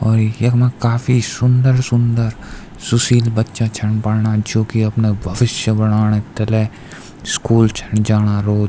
और यखमा काफी सुन्दर-सुन्दर सुशील बच्चा छन पड़ना जोकि अपना भविष्य बनाणे क तले स्कूल छन जणा रोज।